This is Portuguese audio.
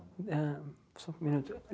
Ahn só um minuto.